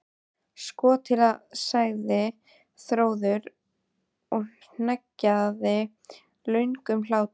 Sko til, sagði Þórður og hneggjaði löngum hlátri.